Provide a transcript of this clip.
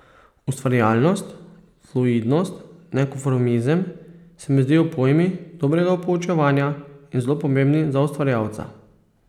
Ustvarjalnost, fluidnost, nekonformizem se mi zdijo pojmi dobrega poučevanja in zelo pomembni za ustvarjalca.